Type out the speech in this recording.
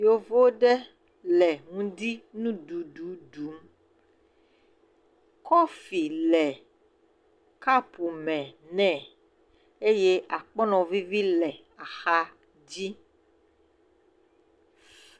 Yovu ɖe le ŋdi nu ɖum. Kɔfi le kɔpu me nɛ eye akpɔnɔ vivi le axa dzi..